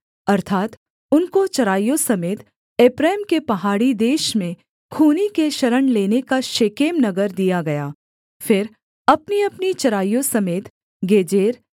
अर्थात् उनको चराइयों समेत एप्रैम के पहाड़ी देश में खूनी के शरण लेने का शेकेम नगर दिया गया फिर अपनीअपनी चराइयों समेत गेजेर